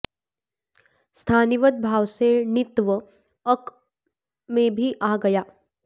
स्थानिवद् भाव से णित्व अक में भी आ गया